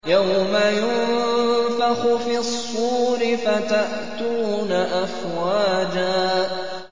يَوْمَ يُنفَخُ فِي الصُّورِ فَتَأْتُونَ أَفْوَاجًا